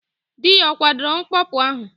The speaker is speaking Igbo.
Dị ya ọ kwadoro mkpọpu ahụ?